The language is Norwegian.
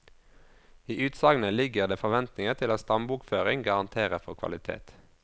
I utsagnet ligger det forventninger til at stambokføring garanterer for kvalitet.